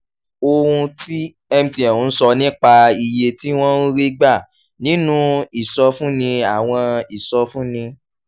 ohun tí mtn ń sọ nípa iye tí wọ́n ń rí gbà nínú ìsọfúnni àwọn ìsọfúnni